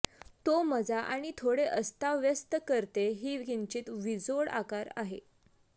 तो मजा आणि थोडे अस्ताव्यस्त करते एक किंचित विजोड आकार आहे